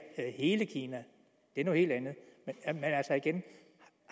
hele kina det er noget helt andet men igen